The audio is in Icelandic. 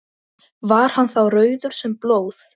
Var hann þá rauður sem blóð.